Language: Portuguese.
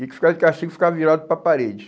E quem ficava de castigo ficava virado para a parede.